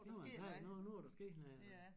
Det var en sejr nu nu var der sket